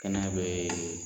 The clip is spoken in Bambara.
Kɛnɛya bɛ